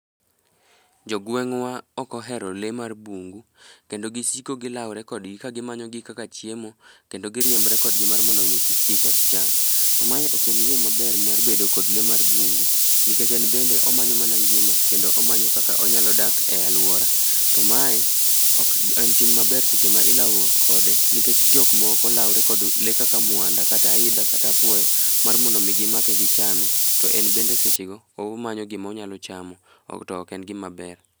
Jogweng'wa ok ohero lee mar bungu. Kendo gisiko gilaore kodgi, ka gimanyogi kaka chiemo, kendo giriembre kodgi mar mondo omi kik giketh cham. To mae ok en yo maber mar bedo kod lee mar bungu. Nikech en bende omanyo mana ngima kendo omanyo kaka onyalo dak e alwora. To mae ok en tim maber, seche ma ilauruok kode. Nikech jomoko laure kod lee kaka mwanda, kata aidha, kata apuoyo mar mondo omi gimake, gichame. To en bende sechego omanyo gima onyalo chamo. To ok en gima ber.